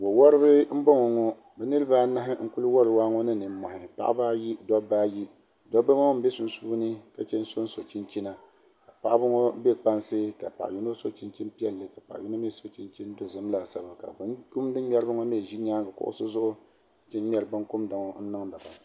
Wawariba m-bɔŋɔ ŋɔ niriba anahi n-kuli wari waa ŋɔ ni nimɔhi paɣiba ayi dobba ayi dobba ŋɔ m-be sunsuuni ka che n-soso chinchina paɣiba ŋɔ be kpansi ka paɣa yino so chinchini piɛlli ka yino mi so chinchini dozim laasabu ka binkumdi ŋmɛriba ŋɔ mi ʒi nyaaŋa kuɣusi zuɣu che ŋ-ŋmɛri binkumda ŋɔ n-niŋdi ba.